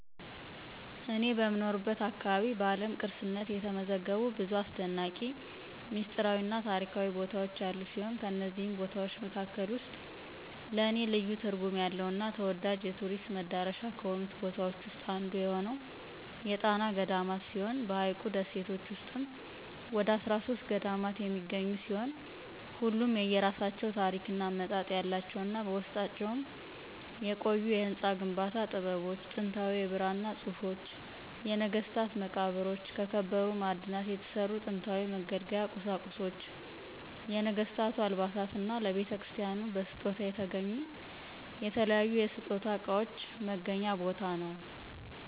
እኔ በምኖርበት አካባቢ በዓለም ቅርስነት የተመዘገቡ ብዙ አሰደናቂ፣ ሚስጥራዊ እና ታሪካዊ ቦታዎች ያሉ ሲሆን ከነዚህም ቦታዎች መካከል ውስጥ ለኔ ልዩ ትርጉም ያለው እና ተወዳጅ የቱሪስት መዳረሻ ከሆኑት ቦታዎች ዉስጥ አንዱ የሆነው የጣና ገዳማት ሲሆን በሀይቁ ደሴቶች ውስጥም ወደ 13 ገዳማት የሚገኙ ሲሆን ሁሉም የየራሳቸው ታሪክ እና አመጣጥ ያላቸው እና በውስጣቸውም የቆዩ የህንፃ ግንባታ ጥበቦች፣ ጥንታዊ የብራና ፅሁፎች፣ የነገስታት መቃብሮች፣ ከከበሩ ማዕድናት የተሰሩ ጥንታዊ መገልገያ ቁሳቁሶች፣ የነገስታቱ አልባሳት እና ለቤተክርስቲያናቱ በስጦታ የተገኙ የተለያዩ የስጦታ እቃዎች መገናኛ ቦታ ነው።